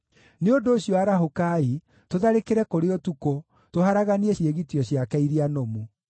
Nĩ ũndũ ũcio, arahũkai, tũtharĩkĩre kũrĩ ũtukũ, tũharaganie ciĩgitio ciake iria nũmu!”